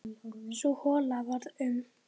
Sú hola varð um